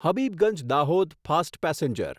Habibganj Dahod fast passenger